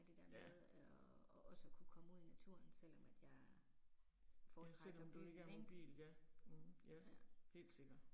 Ja. Ja selvom du ikke har nogen bil, ja, ja. Helt sikkert